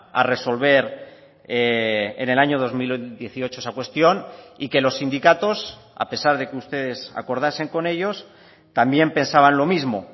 a resolver en el año dos mil dieciocho esa cuestión y que los sindicatos a pesar de que ustedes acordasen con ellos también pensaban lo mismo